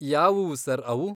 ಯಾವುವು ಸರ್ ಅವು?